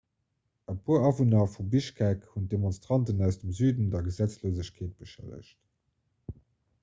e puer awunner vu bischkek hunn d'demonstranten aus dem süde der gesetzlosegkeet beschëllegt